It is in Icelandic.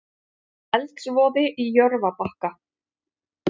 Eldsvoði í Jörfabakka